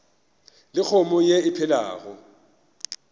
le kgomo ye e phelago